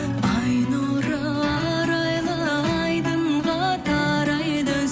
ай нұры арайлы айдынға тарайды